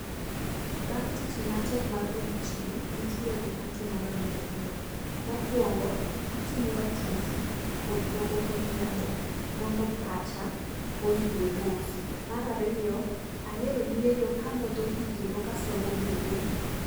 Bang' tich matek mar odiochieng', nitiere gik matimoga mondo ayue. Mokwongo, atimoga tizi odhiombo kodhiambo, mondo pacha oyue mos. Mar ariyo ahero yueyo ka amodho pi kendo kasomo buge.